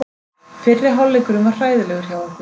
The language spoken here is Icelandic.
Fyrri hálfleikurinn var hræðilegur hjá okkur.